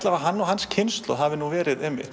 að hann og hans kynslóð hafi verið